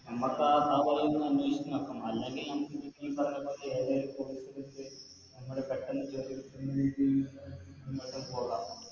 നമ്മക്ക അല്ലെങ്കിൽ നമുക്കി നീ പറഞ്ഞ പോലെ ഏതേലും Course പഠിച്ച് പെട്ടന്ന് ജോലി കിട്ടുന്ന നമ്മൾക്ക് പോകാം